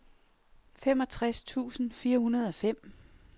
femogtres tusind fire hundrede og fem